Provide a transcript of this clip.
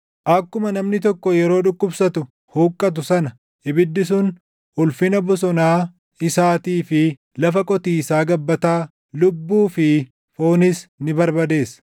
Akkuma namni tokko yeroo dhukkubsatu huqqatu sana, ibiddi sun ulfina bosonaa isaatii fi lafa qotiisaa gabbataa, lubbuu fi foonis ni barbadeessa.